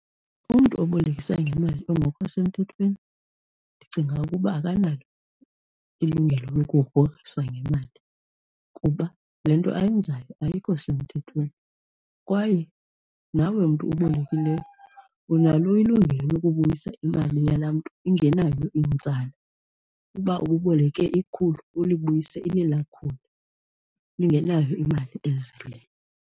Umntu obolekisa ngemali ongekho semthethweni ndicinga ukuba akanalo ilungelo lokugrogrisa ngemali kuba le nto ayenzayo ayikho semthethweni kwaye nawe mntu ubolulekileyo unalo ilungelo lokubuyisa imali yala mntu ingenayo inzala uba ububoleke ikhulu uyibuyise elela khulu lingenayo imali ezalayo.